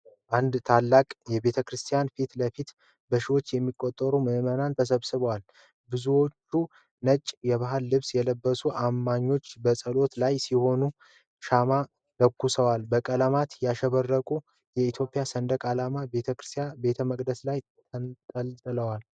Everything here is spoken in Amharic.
አንድ ታላቅ ቤተ ክርስቲያን ፊት ለፊት በሺዎች የሚቆጠሩ ምዕመናን ተሰብስበዋል፡፡ ብዙዎቹ ነጭ የባህል ልብስ የለበሱት አማኞች በጸሎት ላይ ሲሆኑ ሻማ ለኩሰዋል፡፡ በቀለማት ያሸበረቀው የኢትዮጵያ ሰንደቅ ዓላማ በቤተ መቅደሱ ላይ ተንጠልጥሏል፡፡